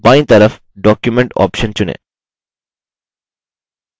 बायीं तरफ document option चुनें